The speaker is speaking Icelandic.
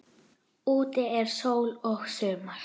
Úti er sól og sumar.